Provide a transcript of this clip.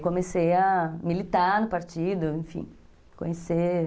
E comecei a militar no partido, enfim, conhecer...